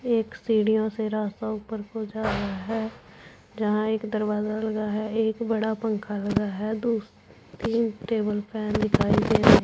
एक सीढ़ीओ से रास्ता ऊपर पहुंचा रहा है जहां एक दरवाजा लगा है एक बड़ा पंखा लगा है दो तीन टेबल फैन दिखाई दे रहे--